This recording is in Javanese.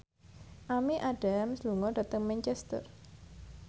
Amy Adams lunga dhateng Manchester